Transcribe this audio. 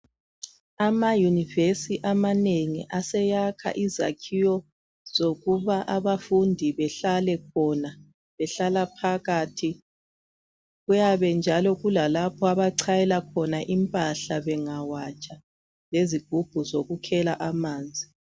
Amayunivesi amanengi aseyakha izakhiwo zokuba abafundi behlale khona, behlala phakathi. Kuyabe njalo kula lapho abachayela khona impahla bengawatsha lezigubhu zokukhela amanzi.